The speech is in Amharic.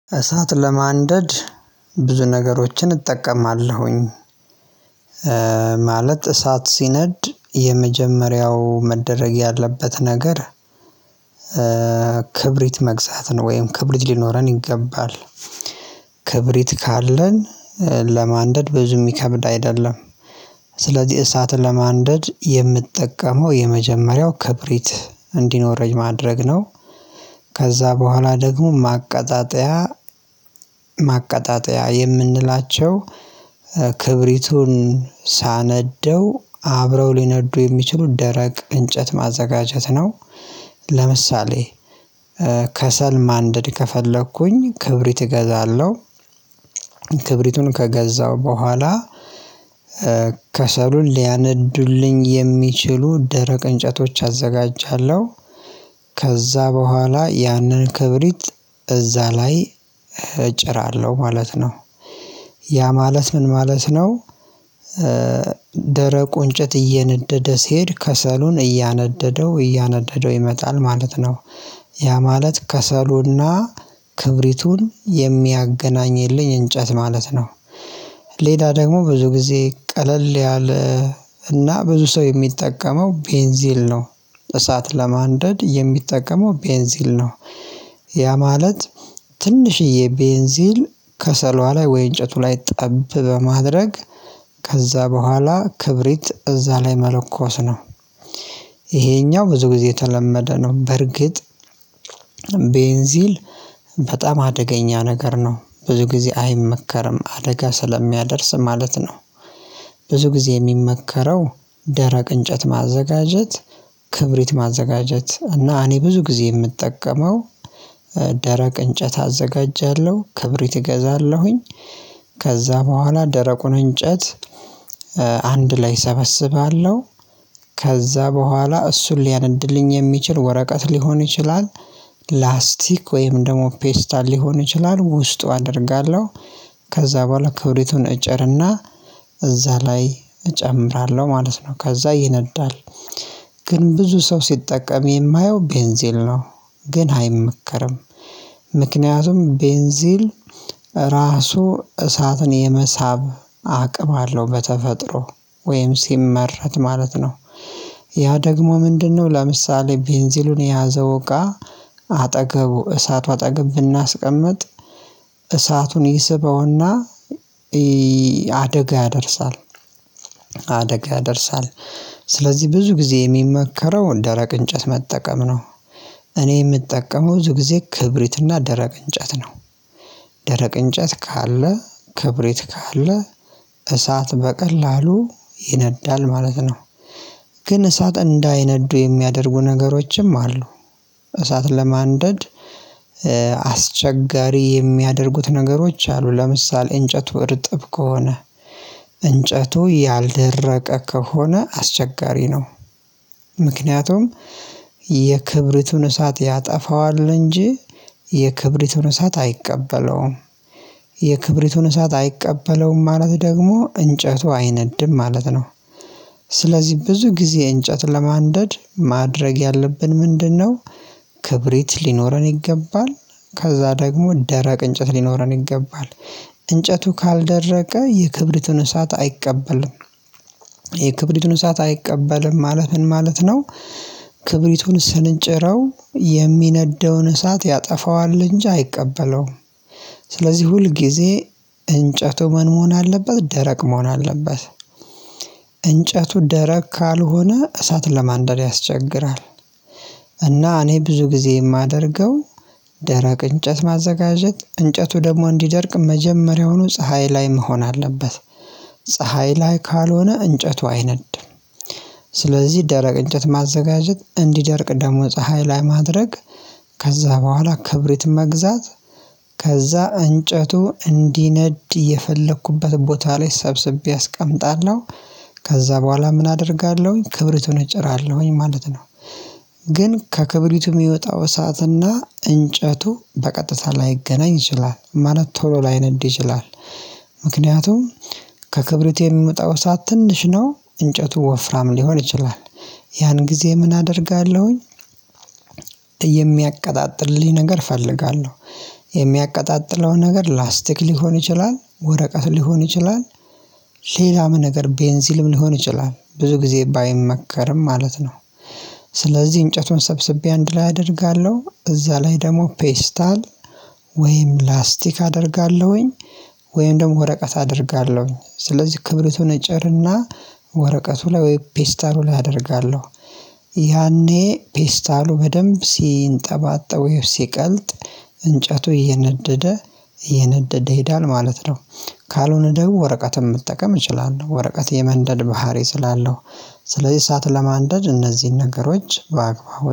እሳት ለማንደድ ብዙ ነገሮችን እጠቀማለሁኝ። ማለት እሳት ሲነድ የመጀመሪያው መደረግ ያለበት ነገር። ክብሪት መግዛት ነው ወይም ክብሪት ሊኖረን ይገባል። ክብሪት ካለን ለማንደድ ብዙ የሚከብድ አይደለም። ስለዚህ እሳትን ለማንደድ የምጠቀመው የመጀመሪያው ክብሪት እንዲኖረኝ ማድረግ ነው። ከዛ በኋላ ደግሞ ማቀጣጠያ ማቀጣጠያ የምንላቸው ክብሪቱን ሳነደው አብረው ሊነዱ የሚችሉ ደረቅ እንጨት ማዘጋጀት ነው። ለምሳሌ ከሰል ማንደድ ከፈለኩኝ ክብሪት እገዛለሁ። ክብሪቱን ከገዛው በኋላ ከሰሉን ሊያነዱልኝ የሚችሉ ደረቅ እንጨቶች አዘጋጃለሁ። ከዛ በኋላ ያንን ክብሪት እዛ ላይ እጭራለሁ ማለት ነው። ያ ማለት ምን ማለት ነው? ደረቁን እንጨት እየነደደ ሲሄድ ከሰሉን እያነደደው እያነደደው ይመጣል ማለት ነው። ያ ማለት ከሰሎና ክብሪቱን የሚያገናኝ የለኝ እንጨት ማለት ነው። ሌላ ደግሞ ብዙ ጊዜ ቀለል ያለ እና ብዙ ሰው የሚጠቀመው ቤንዚል ነው። እሳት ለማንደድ የሚጠቀመው ቤንዚል ነው። ያ ማለት ትንሽዬ ቤንዚል ከሰሏ ላይ ወይ እንጨቱ ላይ ጠብ በማድረግ ከዛ በኋላ ክብሪት እዛ ላይ መለኮስ ነው። ይሄኛው ብዙ ጊዜ የተለመደ ነው። በርግጥ ቤንዚል በጣም አደገኛ ነገር ነው ብዙ ጊዜ አይመከርም አደጋ ስለሚያደርስ ማለት ነው። ብዙ ጊዜ የሚመከረው ደረቅ እንጨት ማዘጋጀት ክብሪት ማዘጋጀት እና እኔ ብዙ ጊዜ የምጠቀመው ደረቅ እንጨት አዘጋጃለሁ ክብሪት እገዛለሁኝ። ከዛ በኋላ ደረቁን እንጨት አንድ ላይ ሰበስባለሁ ከዛ በኋላ እሱን ሊያነድልኝ የሚችል ወረቀት ሊሆን ይችላል። ላስቲክ ወይም ደግሞ ፔስታል ሊሆን ይችላል ውስጡ አደርጋለሁ። ከዛ በኋላ ክብሪቱን እጨርና እዛ ላይ እጨምራለሁ ማለት ነው ከዛ ይነዳል። ግን ብዙ ሰው ሲጠቀም የማየው ቤንዚል ነው ግን አይመከርም። ምክንያቱም ቤንዚል ራሱ እሳትን የመሳብ አቅም አለው በተፈጥሮ ወይም ሲመረት ማለት ነው። ያ ደግሞ ምንድነው? ለምሳሌ ቤንዚሉን የያዘው እቃ አጠገቡ እሳቱ አጠገብ ብናስቀምጥ እሳቱን ይስበውና አደጋ ያደርሳል። አደጋ ያደርሳል። ስለዚህ ብዙ ጊዜ የሚመከረውን ደረቅ እንጨት መጠቀም ነው። እኔ የምጠቀመው ብዙ ጊዜ ክብሪትና ደረቅ እንጨት ነው። ደረቅ እንጨት ካለ ክብሪት ካለ እሳት በቀላሉ ይነዳል ማለት ነው። ግን እሳት እንዳይነዱ የሚያደርጉ ነገሮችም አሉ። እሳት ለማንደድ አስቸጋሪ የሚያደርጉት ነገሮች አሉ ለምሳሌ እንጨቱ እርጥብ ከሆነ እንጨቱ ያልደረቀ ከሆነ አስቸጋሪ ነው። ምክንያቱም የክብሪቱን እሳት ያጠፋዋል እንጂ የክብሪቱን እሳት አይቀበለውም። የክብሪቱን እሳት አይቀበለውም ማለት ደግሞ እንጨቱ አይነድም ማለት ነው። ስለዚህ ብዙ ጊዜ እንጨት ለማንደድ ማድረግ ያለብን ምንድነው? ክብሪት ሊኖረን ይገባል ከዛ ደግሞ ደረቅ እንጨት ሊኖረን ይገባል። እንጨቱ ካልደረቀ የክብሪትን እሳት አይቀበልም። የክብሪቱን እሳት አይቀበልም ማለት ምን ማለት ነው? ክብሪቱን ስንጭረው የሚነደውን እሳት ያጠፋዋል እንጂ አይቀበለውም። ስለዚህ ሁል ጊዜ እንጨቱ ምን መሆን አለበት ደረቅ መሆን አለበት። እንጨቱ ደረቅ ካልሆነ እሳት ለማንደር ያስቸግራል። እና እኔ ብዙ ጊዜ የማደርገው ደረቅ እንጨት ማዘጋጀት እንጨቱ ደግሞ እንዲደርቅ መጀመሪያውኑ ፀሀይ ላይ መሆን አለበት። ፀሀይ ላይ ካልሆነ እንጨቱ አይነድም። ስለዚህ ደረቅ እንጨት ማዘጋጀት እንዲደርቅ ደግሞ ፀሀይ ላይ ማድረግ ከዛ በኋላ ክብሪት መግዛት ከዛ እንጨቱ እንዲነድ የፈለኩበት ቦታ ላይ ሰብስቤ አስቀምጣለሁ። ከዛ በኋላ ምን አደርጋለሁኝ ክብሪቱን እጨራለሁኝ ማለት ነው። ግን ከክብሪቱም የሚወጣው ሰዓትና እንጨቱ በቀጥታ ላይገናኝ ይችላል ማለት ቶሎ ላይነድ ይችላል። ምክንያቱም ከክብሪት የሚመጣው ሰዓት ትንሽ ነው እንጨቱ ወፍራም ሊሆን ይችላል። ያን ጊዜ ምን አደርጋለሁኝ? የሚያቀጣጥልልኝ ነገር እፈልጋለሁ። የሚያቀጣጥለው ነገር ላስቲክ ሊሆን ይችላል ወረቀት ሊሆን ይችላል። ሌላም ነገር ቤንዚልም ሊሆን ይችላል ብዙ ጊዜ ባይመከርም ማለት ነው። ስለዚህ እንጨቱን ሰብስቤ አንድ ላይ አደርጋለሁ እዛ ላይ ደግሞ ፔስታል ወይም ላስቲክ አደርጋለሁኝ። ወይም ደግሞ ወረቀት አደርጋለሁኝ ስለዚህ ክብሪቱን እጨርና ወረቀቱ ላይ ወይ ፔስታሉ ላይ አደርጋለሁ። ያኔ ፔስታሉ በደንብ ሲንጠባጠብ ወይም ሲቀልጥ እንጨቱ እየነደደ እየነደደ ሄደን ማለት ነው። ካልሆነ ደግሞ ወረቀትም መጠቀም እችላለሁ ወረቀት የመንደል ባህሪ ስላለው ስለዚህ እሳት ለማንደድ እነዚህን ነገሮች በአግባቡ